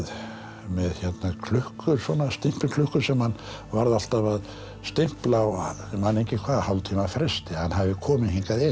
með klukku stimpilklukku sem hann varð alltaf að stimpla á ég man ekki hálftíma fresti að hann hefði komið hingað inn